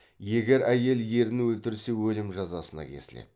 егер әйел ерін өлтірсе өлім жазасына кесіледі